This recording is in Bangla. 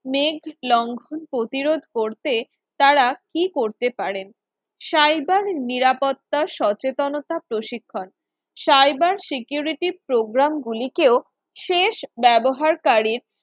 মেঘ লঙ্ঘন প্রতিরোধ করতে তারা কি করতে পারে cyber নিরাপত্তা সচেতনতা প্রশিক্ষণ cyber security program গুলি কেউ শেষ ব্যবহারকারীর